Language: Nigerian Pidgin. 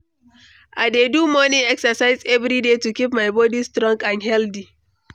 I dey do morning exercise every day to keep my body strong and healthy.